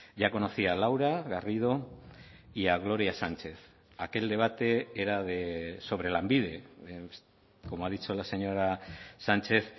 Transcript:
ya conocía a laura garrido y a gloria sánchez aquel debate era sobre lanbide como ha dicho la señora sánchez